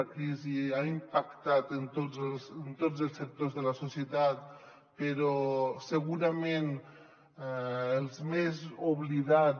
la crisi ha impactat en tots els sectors de la societat però segurament els més obli·dats